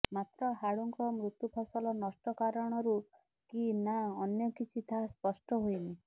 ମାତ୍ର ହାଡୁଙ୍କ ମୃତ୍ୟୁ ଫସଲ ନଷ୍ଟ କାରଣରୁ କି ନା ଅନ୍ୟ କିଛି ତାହା ସ୍ପଷ୍ଟ ହୋଇନି